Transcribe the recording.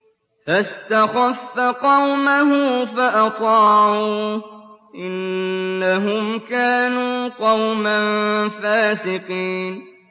فَاسْتَخَفَّ قَوْمَهُ فَأَطَاعُوهُ ۚ إِنَّهُمْ كَانُوا قَوْمًا فَاسِقِينَ